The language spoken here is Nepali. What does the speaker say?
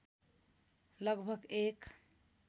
लगभग एक